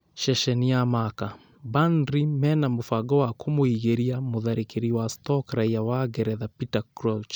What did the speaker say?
(Ceceni ya Marca) Burnely mena mũbango wa kumũingĩria mũtharĩkĩri wa stoke raiya wa ngeretha Peter Crouch.